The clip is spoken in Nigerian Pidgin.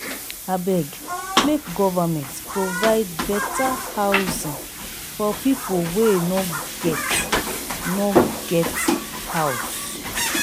abeg make government provide better housing for people wey no get no get house.